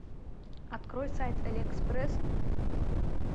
открой сайт алиэкспресс